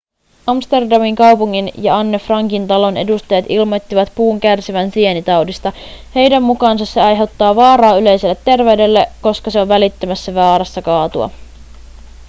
amsterdamin kaupungin ja anne frankin talon edustajat ilmoittivat puun kärsivän sienitaudista heidän mukaansa se aiheuttaa vaaraa yleiselle terveydelle koska se on välittömässä vaarassa kaatua